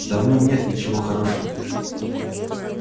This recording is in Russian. да в нем нет ничего хорошего